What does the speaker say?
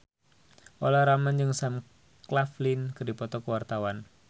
Olla Ramlan jeung Sam Claflin keur dipoto ku wartawan